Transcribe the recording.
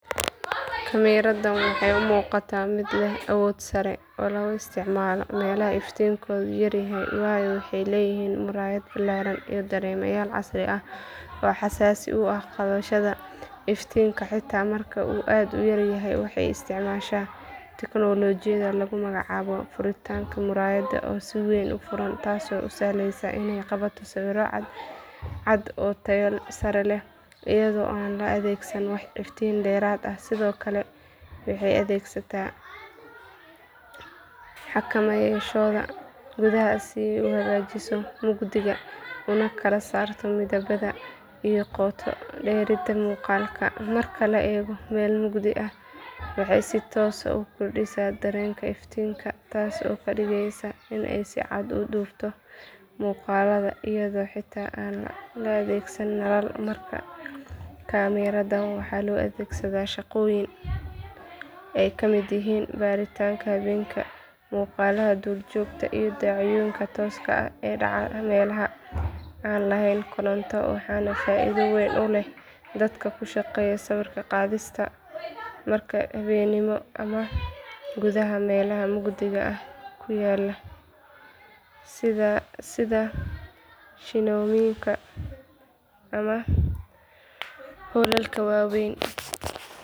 Kaamiradaan waxay u muuqataa mid leh awood sare oo lagu isticmaalo meelaha iftiinkoodu yar yahay waayo waxay leedahay muraayad ballaaran iyo dareemayaal casri ah oo xasaasi u ah qabashada iftiinka xitaa marka uu aad u yar yahay waxay isticmaashaa tignoolajiyada lagu magacaabo furitaanka muraayadda oo si weyn u furan taasoo u sahlaysa inay qabato sawirro cadcad oo tayo sare leh iyadoo aan la adeegsan wax iftiin dheeraad ah sidoo kale waxay adeegsataa xakameeyaashooda gudaha si ay u hagaajiso mugdiga una kala saarto midabada iyo qoto dheerida muuqaalka marka la eego meel mugdi ah waxay si toos ah u kordhisaa dareenka iftiinka taasoo ka dhigaysa inay si cad u dubto muuqaalada iyadoo xitaa aan la adeegsan nalal markaa kaamiradaan waxaa loo adeegsadaa shaqooyin ay ka mid yihiin baaritaannada habeenkii muuqaalada duurjoogta iyo dhacdooyinka tooska ah ee dhaca meelaha aan lahayn koronto waxaana faa’iido weyn u leh dadka ku shaqeeya sawir qaadista marka habeenimo ama gudaha meelaha mugdiga ah ku yaal sida shineemooyinka ama hoolalka waaweyn